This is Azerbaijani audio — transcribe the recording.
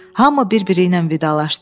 Hamı bir-biri ilə vidalaşdı.